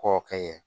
Kɔ kɛ ɲɛ